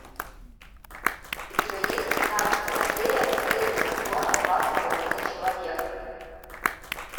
у тебя есть тринадцатая серия последнего сезона два с половиной человека